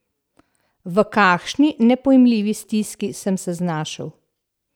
V kakšni nepojmljivi stiski sem se znašel!